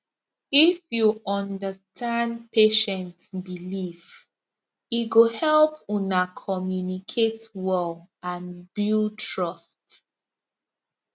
if you understand patient belief e go help una communicate well and build trust